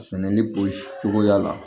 Sɛnɛli polisi cogoya la